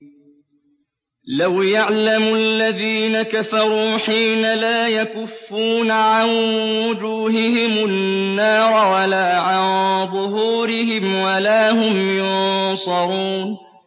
لَوْ يَعْلَمُ الَّذِينَ كَفَرُوا حِينَ لَا يَكُفُّونَ عَن وُجُوهِهِمُ النَّارَ وَلَا عَن ظُهُورِهِمْ وَلَا هُمْ يُنصَرُونَ